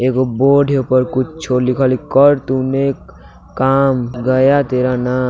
एक बोर्ड है ऊपर कुछों लिखल है कर तूने काम गया तेरा नाम।